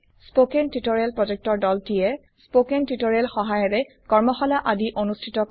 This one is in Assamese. কথন শিক্ষণ প্ৰকল্পৰ দলটিয়ে কথন শিক্ষণ সহায়িকাৰে কৰ্মশালা আদি অনুষ্ঠিত কৰে